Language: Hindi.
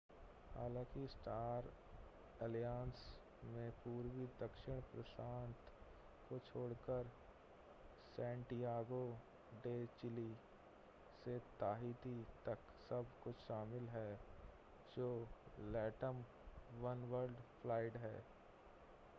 हालांकि स्टार एलायंस में पूर्वी दक्षिण प्रशांत को छोड़कर सैंटियागो डे चिली से ताहिती तक सब कुछ शामिल है जो latam oneworld फ्लाइट है